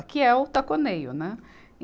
Aqui é o taconeio, né?